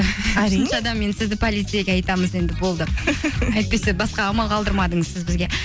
енді сізді полицейге айтамыз енді болды әйтпесе басқа амал қалдырмадыңыз сіз бізге